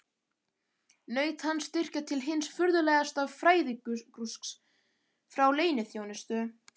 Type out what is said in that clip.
Naut hann styrkja til hins furðulegasta fræðagrúsks frá leyniþjónustu